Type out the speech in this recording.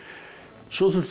svo þurftu þeir